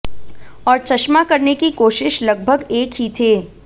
और चश्मा करने की कोशिश लगभग एक ही थे